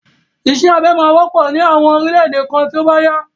Isẹ́ abẹ máa wọ́pọ̀ ní àwọn orílẹ̀ èdè kan tí ó bá yá.